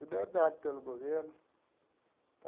Tudo é dado pelo governo.